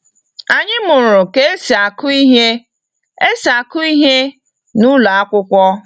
Anyị mụrụ ka esi aku ihe esi aku ihe na ụlọ akwụkwọ.